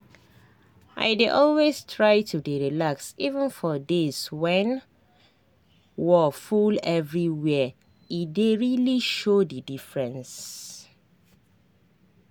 i dey always try to dey relax even for days when wor full everywhere e dey really show the diffrence